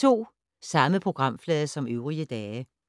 Samme programflade som øvrige dage